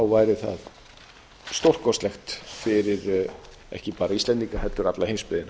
væri það stórkostlegt fyrir ekki bara íslendinga heldur alla heimsbyggðina